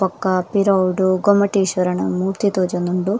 ಬೊಕ್ಕ್ ಅಪಿರಾವುಡ್ ಗೊಮ್ಮಟೇಶ್ವರನ ಮೂರ್ತಿ ತೋಜೊಂದುಂಡು.